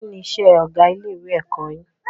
Kí ni isẹ́ ọgá ilé ẹ̀kọ́ yin?